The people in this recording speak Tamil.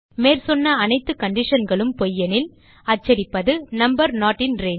மேற்சொன்ன அனைத்து conditionகளும் பொய் எனில் அச்சடிப்பது நம்பர் நோட் இன் ரங்கே